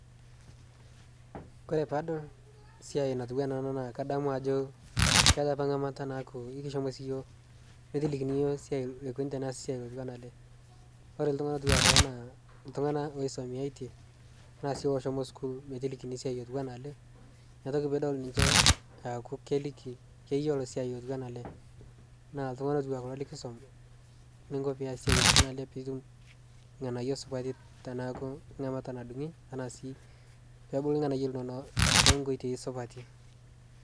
kore paadol siai natuwana ana naa kadamu ajoo keata apaa ngamata naaku ikishomo sii yooh metilikini yooh neikuni teneasi siai neikuni siai otuwana alee kore ltungana otuwanaa kuloo naa ltungana loisomeyaitee tanaa sii loshomo sukuul metilikini siai otuwana alee inia toki piidol ninshe eaku keliki keyelo siai otuwana alee naa ltungana kuloo likisom ninkoo pias siai otuwana alee piitum lghanayo supati tanaaku ngamata nadungi tanaa sii peebulu lghanayo linono tonkoitei supatii